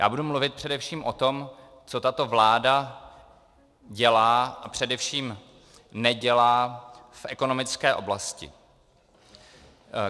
Já budu mluvit především o tom, co tato vláda dělá a především nedělá v ekonomické oblasti.